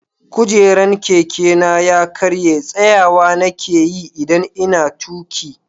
Kujeran Keke na ya karya, tsayawa na ke yi idan n'na tuki.